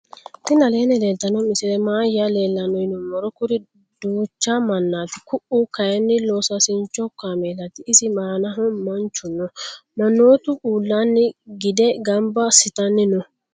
tini aleni leltano misileni maayi leelano yinnumoro. kuuri ducha maanati ku"u kayini losasincho kamelati isi annano manchu noo. manotu uulani gide ganba asitani noo.